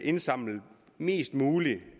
indsamlet mest muligt